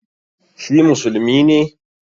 Shi musulmi ne?